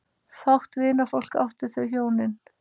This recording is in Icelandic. Fátt vinafólk áttu þau hjónin.